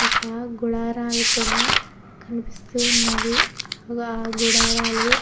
ఒక గుడారాలు కూడా కనిపిస్తూ ఉన్నవి ఆ గుడారాలు --